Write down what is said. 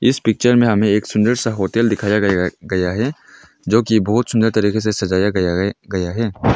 इस पिक्चर में हमें एक सुंदर सा होटल दिखाया गया गया है जो कि बहुत सुंदर तरीके से सजाया गया गया है।